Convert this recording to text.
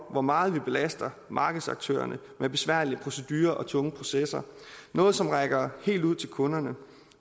hvor meget vi belaster markedsaktørerne med besværlige procedurer og tunge processer noget som rækker helt ud til kunderne